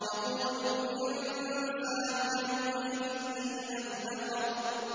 يَقُولُ الْإِنسَانُ يَوْمَئِذٍ أَيْنَ الْمَفَرُّ